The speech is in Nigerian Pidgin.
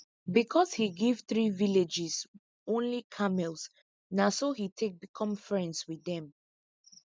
because he give three villages only camels na so he take become friends with them